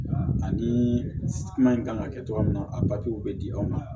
Ani kuma in kan ka kɛ cogoya min na a bɛ di aw ma